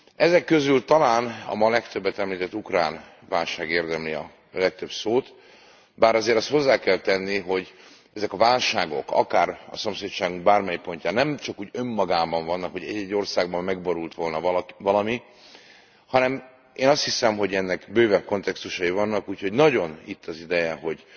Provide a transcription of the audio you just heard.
Ezek közül talán a ma legtöbbet említett ukrán válság érdemli a legtöbb szót, bár azért azt hozzá kell tenni, hogy ezek a válságok szomszédságunk bármely pontján nem csak úgy önmagukban vannak, nem azért vannak, mert egy egy országban megborult volna valami, hanem, én azt hiszem, hogy bővebb kontextusaik vannak, úgyhogy nagyon itt az ideje, hogy